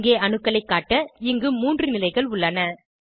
இங்கே அணுக்களைக் காட்ட இங்கு 3 நிலைகள் உள்ளன